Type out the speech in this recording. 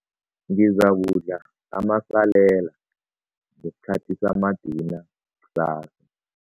Ngizakudla amasalela ngesikhathi samadina kusasa.